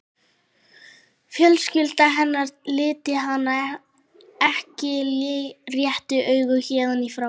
Fjölskylda hennar liti hann ekki réttu auga héðan í frá.